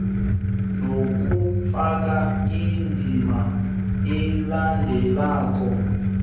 nokufaka indima elandelako